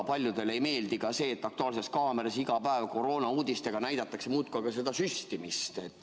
Paljudele ei meeldi ka see, et "Aktuaalses kaameras" iga päev koroonauudiste taustaks näidatakse muudkui aga süstimist.